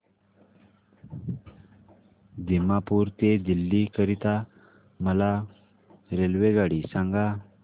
दिमापूर ते दिल्ली करीता मला रेल्वेगाडी सांगा